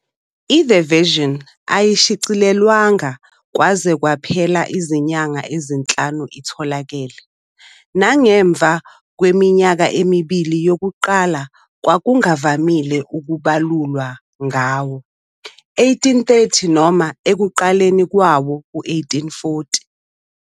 I- "The Vision" ayishicilelwanga kwaze kwaphela izinyanga ezinhlanu itholakele, nangemva kweminyaka emibili yokuqala kwakungavamile ukubalulwa ngawo-1830 noma ekuqaleni kwawo-1840.